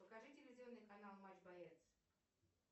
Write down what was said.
покажи телевизионный канал матч боец